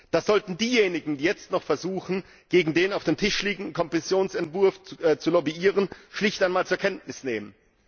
Das sollten diejenigen, die jetzt noch versuchen, gegen den auf dem Tisch liegenden Kommissionsentwurf zu lobbyieren, schlicht einmal zur Kenntnis nehmen.